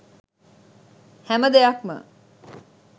හැම දෙයක්ම